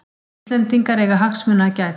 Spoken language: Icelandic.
Íslendingar eiga hagsmuna að gæta